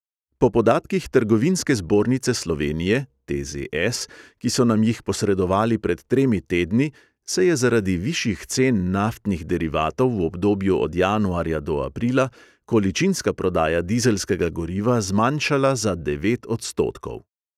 Po podatkih trgovinske zbornice slovenije ki so nam jih posredovali pred tremi tedni, se je zaradi višjih cen naftnih derivatov v obdobju od januarja do aprila količinska prodaja dizelskega goriva zmanjšala za devet odstotkov.